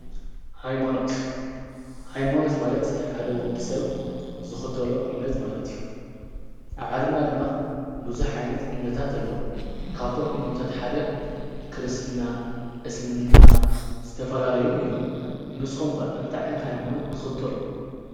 ሃይማኖት፣ ሃይማኖት ማለት ሓደ ወዲ ሰብ ዝኽተሎ እምነት ማለት እዩ። ኣብ ዓለምና ድማ ብዙኅ ዓይነት እምነታት ኣለዉ። ካብቶም እናምታት ሓደ ክርስትና፣ እስልምና ዝተፈልለየን እዮም። ንስኾም ከ እንታይ ዓይንቲ ሃይማኖት ትኽተሉ?